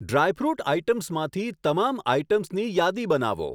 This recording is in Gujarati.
ડ્રાયફ્રુટ આઇટમ્સમાંથી તમામ આઇટમ્સની યાદી બનાવો.